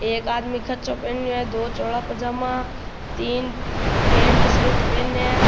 एक आदमी कच्छा पहनो है दो चौड़ा पजामा तीन पेण्ट सर्ट पहने है।